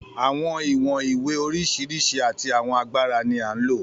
Àwọn ìwọ̀n ìwé oríṣiríṣi àti àwọn agbára ni à ń lò.